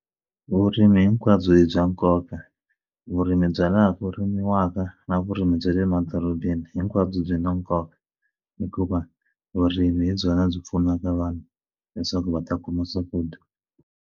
Vurimi hinkwabyo hi bya nkoka vurimi bya laha ku rimiwaka na vurimi bya le madorobeni hinkwabyo byi na nkoka hikuva vurimi hi byona byi pfunaka vanhu leswaku va ta kuma swakudya.